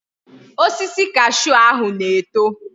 Osisi cashew ahu na eto